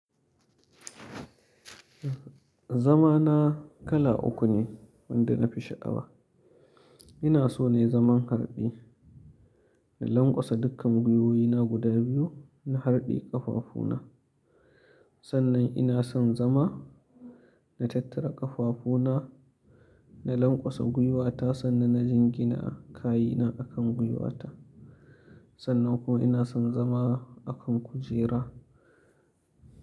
Zama na kala uku ne wanda na fi shaƙawa. Ina so ne zaman harde, in lanƙwasa dukkan gwuiwoyi na guda biyu na harde ƙafafu na. Sannan ina son zama na tattara ƙafafu na, na lanƙwasa guiwata ta sannan na jingina kayi na akan guiwa ta. Sannan kuma ina son zama a kan kujera.